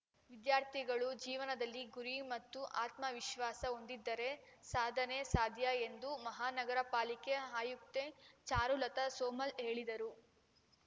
ವಿದ್ಯಾರ್ಥಿಗಳು ಜೀವನದಲ್ಲಿ ಗುರಿ ಮತ್ತು ಆತ್ಮವಿಶ್ವಾಸ ಹೊಂದಿದ್ದರೆ ಸಾಧನೆ ಸಾಧ್ಯ ಎಂದು ಮಹಾನಗರ ಪಾಲಿಕೆ ಆಯುಕ್ತೆ ಚಾರುಲತಾ ಸೋಮಲ್‌ ಹೇಳಿದರು